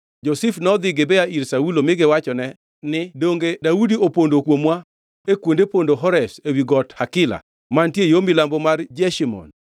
Jo-Zif nodhi Gibea ir Saulo mi giwachone ne, “Donge Daudi opondo kuomwa e kuonde pondo Horesh ewi got Hakila, mantie yo milambo mar Jeshimon?